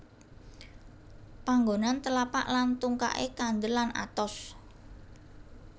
Panggonan telapak lan tungkaké kandel lan atos